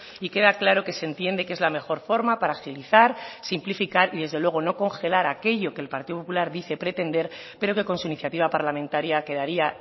y queda claro que se entiende que es la mejor forma para agilizar simplificar y desde luego no congelar aquello que el partido popular dice pretender pero que con su iniciativa parlamentaria quedaría